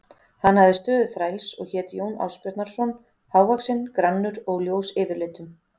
Hann hafði stöðu þræls og hét Jón Ásbjarnarson, hávaxinn, grannur og ljós yfirlitum.